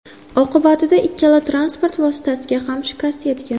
Oqibatida ikkala transport vositasiga ham shikast yetgan.